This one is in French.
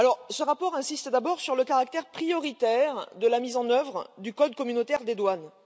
Ce rapport insiste d'abord sur le caractère prioritaire de la mise en œuvre du code communautaire des douanes.